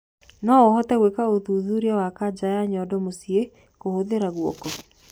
Nouhote gwika uthuthurĩa wa kaja ya nyondo mucii kuhuthira guoko